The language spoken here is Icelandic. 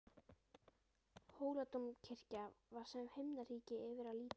Hóladómkirkja var sem himnaríki yfir að líta.